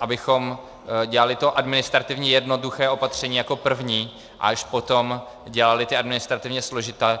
abychom dělali to administrativně jednoduché opatření jako první a až potom dělali ta administrativně složitá.